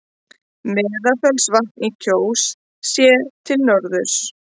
Meðalfellsvatn í Kjós, séð til norðurs.